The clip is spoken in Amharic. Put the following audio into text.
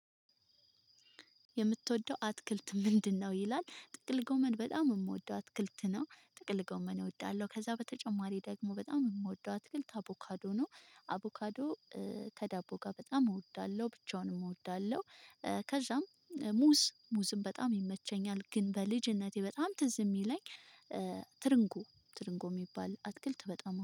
የምትወደው አትክልት ምንድነው? ይላል ጥቅል ጎመን በጣም የምወደው አትክልት ነው ጥቅል ጎመን እወዳለሁ ከዛ በተጨማሪ ደግሞ በጣም የምወደው አትክልት አቦካዶ ነው። አቦካዶ ከዳቦ ጋር በጣም እወዳለሁ ብቻውንም እወዳለሁ። ከዛም ሙዝ ሙዝም በጣም ይመቸኛል ግን በልጅነቴ በጣም ትዝ የሚለኝ። ትርንጉ ትርንጉ የሚባል አትክልት በጣም